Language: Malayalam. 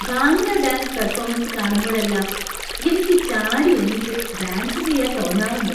ഭാംഗ്ര ഡാന്‍സ് പെര്‍ഫോമന്‍സ് കാണുമ്പഴെല്ലാം എനിക്ക് ചാടി എണീറ്റ് ഡാന്‍സ് ചെയ്യാൻ തോന്നാറുണ്ട്.